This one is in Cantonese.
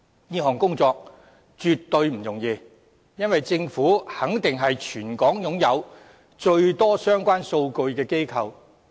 這項工作絕對不容易，因為政府肯定是全港擁有最多相關數據的機構。